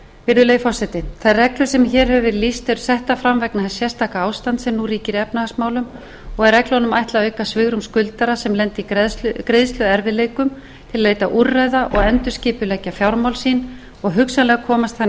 virðulegi forseti þær reglur sem hér hefur verið lýst eru settar fram vegna þess sérstaka ástands sem nú ríkir í efnahagsmálum og er reglunum ætlað að auka svigrúm skuldara sem lenda í greiðsluerfiðleikum til að leita úrræða og endurskipuleggja fjármál sín og hugsanlega komast þannig